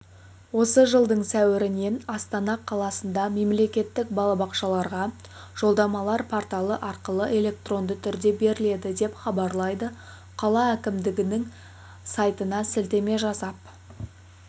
осы жылдың сәуірінен астана қаласында мемлекеттік балабақшаларға жолдамалар порталы арқылы электронды түрде беріледі деп хабарлайды қала әкімдігінің сайтынасілтеме жасап